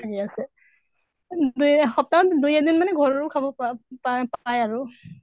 খালি আছে দুই এসপ্তাহত দুই এদিন মানে ঘৰৰো খাব পা পায় পায় আৰু